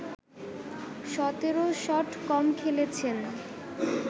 ১৭ shot কম খেলেছেন